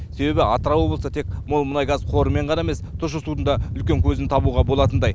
себебі атырау облысынан тек мол мұнай газ қорымен ғана емес тұщы судың да үлкен көзін табуға болатындай